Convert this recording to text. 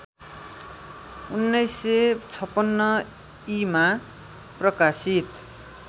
१९५६ ईमा प्रकाशित